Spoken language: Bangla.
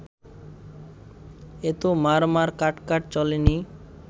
এত মারমার কাটকাট চলেনি